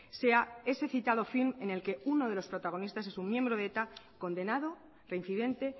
sea ese citado film en el que uno de los protagonistas es un miembro de eta condenado reincidente